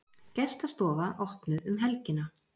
Gestastofa opnuð um helgina